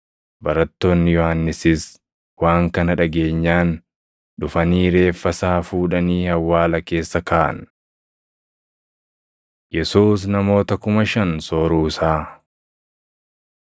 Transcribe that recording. Barattoonni Yohannisis waan kana dhageenyaan dhufanii reeffa isaa fuudhanii awwaala keessa kaaʼan. Yesuus Namoota Kuma Shan Sooruu Isaa 6:32‑44 kwf – Mat 14:13‑21; Luq 9:10‑17; Yoh 6:5‑13 6:32‑44 kwi – Mar 8:2‑9